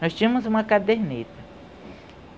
Nós tínhamos uma caderneta.